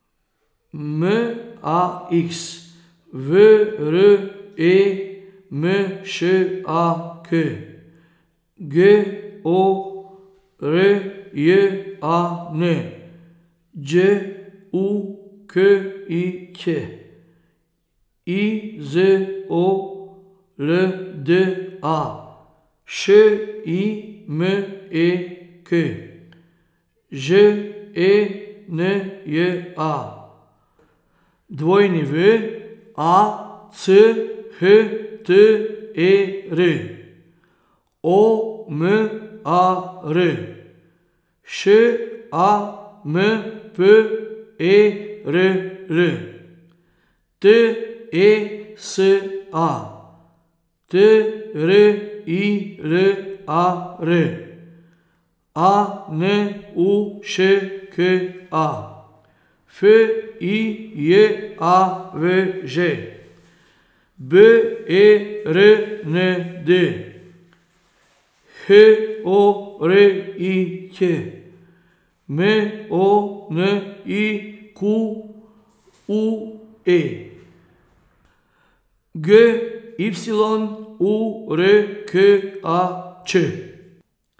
M A X, V R E M Š A K; G O R J A N, Đ U K I Ć; I Z O L D A, Š I M E K; Ž E N J A, W A C H T E R; O M A R, Š A M P E R L; T E S A, T R I L A R; A N U Š K A, F I J A V Ž; B E R N D, H O R I Ć; M O N I Q U E, G Y U R K A Č.